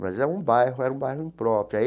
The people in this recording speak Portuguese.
Mas era um bairro, era um bairro impróprio.